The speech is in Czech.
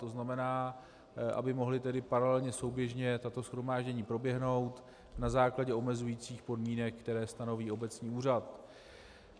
To znamená, aby mohla tedy paralelně, souběžně tato shromáždění proběhnout na základě omezujících podmínek, které stanoví obecní úřad.